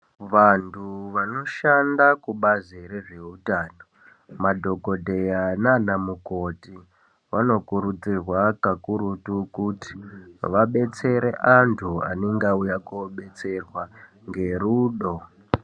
Vantu vanoshanda kubazi rezvehutano Madhokodheya nana mukoti vanokurudzirwa kakurutu kuti vadetsereke vantu vanenge vauya kodetserwa ngerudo.